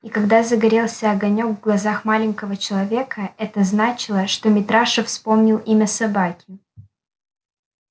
и когда загорелся огонёк в глазах маленького человека это значило что митраша вспомнил имя собаки